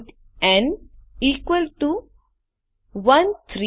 int n equal to 13876